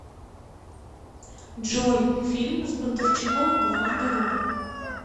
джой фильм с бондарчуком в главной роли